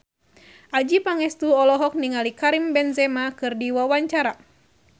Adjie Pangestu olohok ningali Karim Benzema keur diwawancara